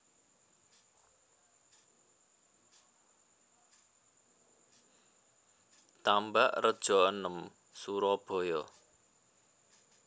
Tambakrejo enem Surabaya